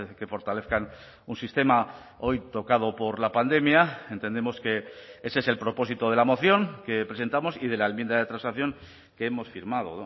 que fortalezcan un sistema hoy tocado por la pandemia entendemos que ese es el propósito de la moción que presentamos y de la enmienda de transacción que hemos firmado